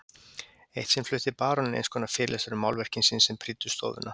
Eitt sinn flutti baróninn einskonar fyrirlestur um málverkin sín sem prýddu stofuna.